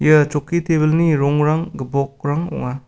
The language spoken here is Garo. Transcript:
ia chokki tebilni rongrang gipokrang ong·a.